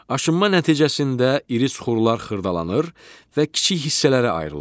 Aşınma nəticəsində iri süxurlar xırdalanır və kiçik hissələrə ayrılır.